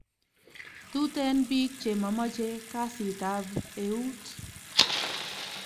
Tuten pik che mamache kasit ab out